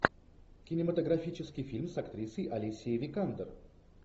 кинематографический фильм с актрисой алисией викандер